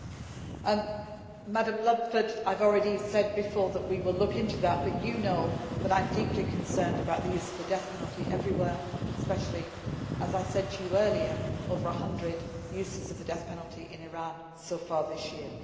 Mrs Ludford, I have already said before that we will look into that, but you know that I am deeply concerned about the use of the death penalty everywhere, especially, as I said to you earlier, over the 100 instances of the death penalty in Iran so far this year.